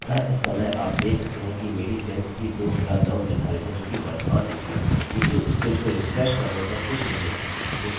अब यदि हम रिफ्रेशrefreshकरने के लिए ब्राउज़ पर क्लिक करें और हम नीचे स्क्रोल करेंहम देख सकते हैं कि यह जिसमें हम चाहते थे उसमें बदल गया और बाकी सबकुछ बिना बिगड़े हुए है